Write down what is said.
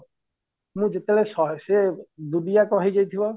ମୁଁ ଯେତେବେଳେ ଶହେ ହେଇଯାଇଥିବ